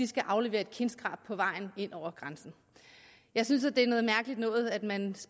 skal aflevere et kindskrab på vejen ind over grænsen jeg synes det er noget mærkeligt noget at man